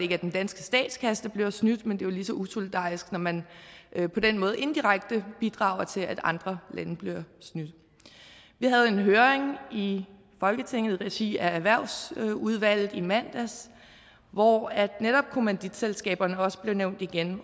er den danske statskasse der bliver snydt men jo lige så usolidarisk når man på den måde indirekte bidrager til at andre lande bliver snydt vi havde en høring i folketinget i regi af erhvervsudvalget i mandags hvor netop kommanditselskaberne også blev nævnt igen